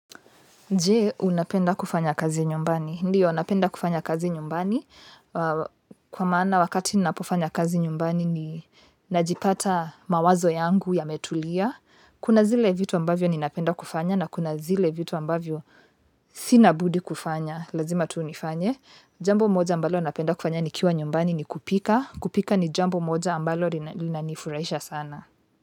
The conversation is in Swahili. Je, unapenda kufanya kazi nyumbani? Ndio, napenda kufanya kazi nyumbani. Kwa maana wakati ninapofanya kazi nyumbani ni najipata mawazo yangu yametulia. Kuna zile vitu ambavyo ninapenda kufanya na kuna zile vitu ambavyo sina budi kufanya. Lazima tu nifanye. Jambo moja ambalo napenda kufanya ni kiwa nyumbani ni kupika. Kupika ni jambo moja ambalo linanifurahisha sana.